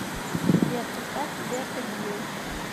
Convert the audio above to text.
сбер поставь гиберто гил